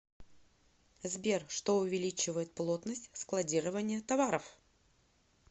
сбер что увеличивает плотность складирования товаров